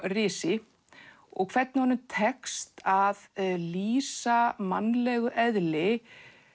risi og hvernig honum tekst að lýsa mannlegu eðli